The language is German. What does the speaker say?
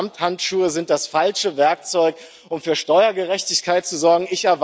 Ich sag Ihnen Samthandschuhe sind das falsche Werkzeug, um für Steuergerechtigkeit zu sorgen.